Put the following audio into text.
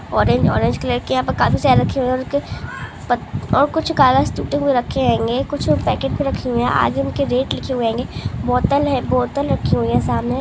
Orange orange colour के यहाँ पे काफी सारे रखे हुए है और कुछ कागज टूटे हुए रखे होगे कुछ पेकेट भी रखे हुए है आज उनके रेट लिखी हुए होगे बोतल है बोतल रखी हुई है सामने।